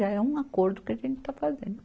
Já é um acordo que a gente está fazendo.